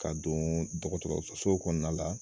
Ka don dɔgɔtɔrɔsow kɔnɔna la